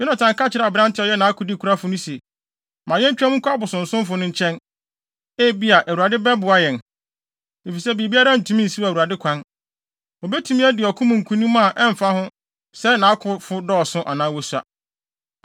Yonatan ka kyerɛɛ aberante a ɔyɛ nʼakodekurafo no se, “Ma yentwa mu nkɔ abosonsomfo no nkyɛn. Ebia, Awurade bɛboa yɛn, efisɛ biribiara ntumi nsiw Awurade kwan. Obetumi adi ɔko mu nkonim a ɛmfa ho sɛ nʼakofo dɔɔso anaa wosua.”